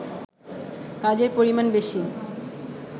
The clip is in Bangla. কাজের পরিমাণ বেশি